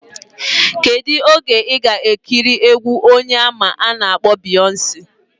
Kedu oge iga ekiri egwu onye ama ana akpo Beyonce?